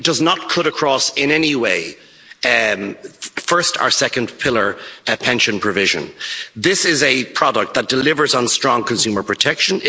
It does not cut across in any way first or second pillar pension provision. This is a product that delivers on strong consumer protection.